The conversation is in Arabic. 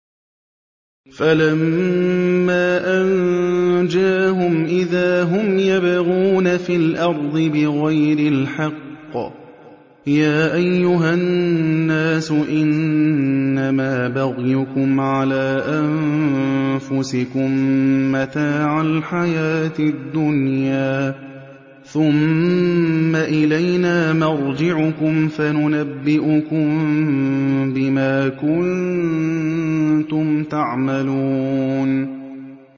فَلَمَّا أَنجَاهُمْ إِذَا هُمْ يَبْغُونَ فِي الْأَرْضِ بِغَيْرِ الْحَقِّ ۗ يَا أَيُّهَا النَّاسُ إِنَّمَا بَغْيُكُمْ عَلَىٰ أَنفُسِكُم ۖ مَّتَاعَ الْحَيَاةِ الدُّنْيَا ۖ ثُمَّ إِلَيْنَا مَرْجِعُكُمْ فَنُنَبِّئُكُم بِمَا كُنتُمْ تَعْمَلُونَ